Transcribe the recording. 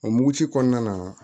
O muguci kɔnɔna na